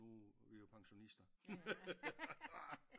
Nu er vi jo pensionister